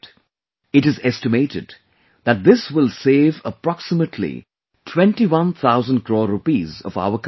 It is estimated that this will save approximately 21 thousand crore Rupees of our countrymen